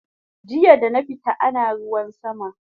Jiya dana fita ana ruwan sama